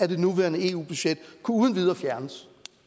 det nuværende eu budget uden videre